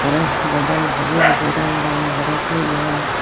aare bodol bojey bojey ranga ranga guri toyon.